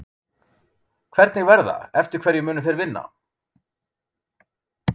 Hvernig verða, eftir hverju munu þeir vinna?